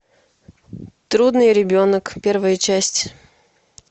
трудный ребенок первая часть